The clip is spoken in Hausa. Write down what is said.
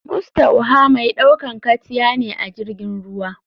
Mustaoha mai ɗaukan katya ne ajirgin ruwa.